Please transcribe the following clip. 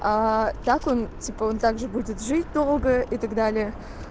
а так он типа он также будет жить долго и так далее